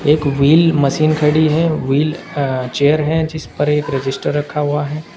एक wheel machine खड़ी है व्हील चेयर जिस पर एक रजिस्टर रखा हुआ है।